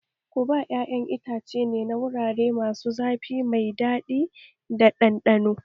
Guba ƴaƴan itace ne na wurare masu zafi mai daɗi da ɗanɗano